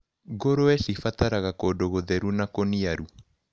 Ngũrũwe cibataraga kũndũ gũtheru na kũniaru.